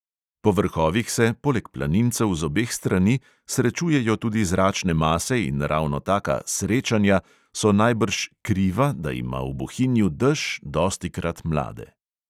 Po vrhovih se, poleg planincev z obeh strani, srečujejo tudi zračne mase in ravno taka "srečanja" so najbrž "kriva", da ima v bohinju dež dostikrat mlade.